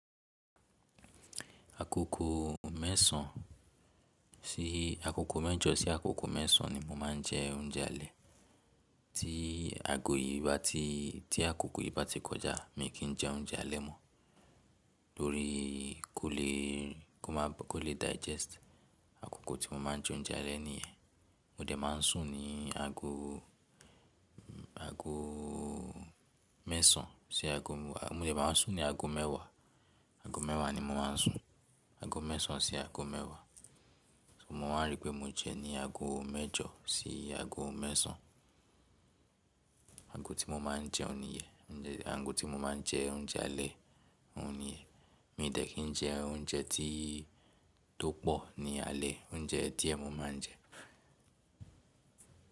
Akoko mẹ́sàn sí akoko mẹ́jọ sí akoko mẹ́sàn ni mo máa ń jẹ oúnjẹ alẹ́. Tí aago yìí bá ti, tí akoko yìí bá ti kọjá mi kì í jẹ oúnjẹ alẹ́ mọ́. Tórí kó le, kó máa, kó lè digest akoko tí mo máa ń jẹ oúnjẹ alẹ́ nìyẹn. Mo dẹ̀ máa ń sùn ní ago, ago mẹ́sàn sí ago mẹ́wàá. Mo dẹ̀ máa ń sùn ní ago mẹ́wàá, ago mẹ́wàá ni mo máa ń sùn. Ago mẹ́sàn sí ago mẹ́wàá. Mo máa ń rí pé mo jẹ ní ago mẹ́jọ sí ago mẹ́sàn. Ago tí mo máa ń jẹun nìyẹn. Ago tí mo máa ń jẹ oúnjẹ alẹ́ nìyẹn. Mi ò tẹ̀ kí ń jẹ oúnjẹ tí tó pọ̀ ní alẹ́. Oúnjẹ díẹ̀ mo máa ń jẹ.